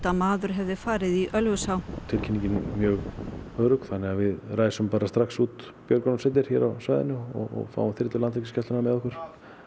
að maður hefði farið í Ölfusá tilkynning var mjög örugg þannig að við ræsum bara strax út björgunarsveitir hér á svæðinu og fáum þyrlu Landhelgisgæslunnar með okkur